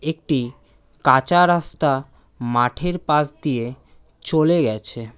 একটি কাঁচা রাস্তা মাঠের পাশ দিয়ে চলে গেছে।